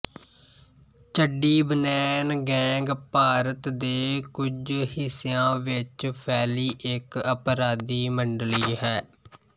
ਚੱਡੀ ਬਨੈਨ ਗੈਂਗ ਭਾਰਤ ਦੇ ਕੁੱਝ ਹਿੱਸਿਆ ਵਿੱਚ ਫੈਲੀ ਇੱਕ ਅਪਰਾਧੀ ਮੰਡਲੀ ਹੈ